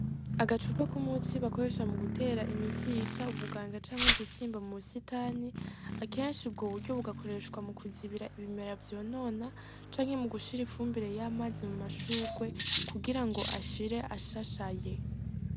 Agacupa komunsi bakoresha mugutera imiti yica ubuganga canke udukoko mubusitani, akenshi ubwoburyo bugakoreshwa mukuzibira ibimera vyonona canke mugushira ifumbire y'amazi mumashugwe kugirango ashira ashashaye.